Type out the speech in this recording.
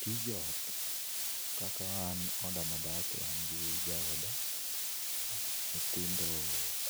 Tij ot kaka an oda madake an gi jaoda, nyithindo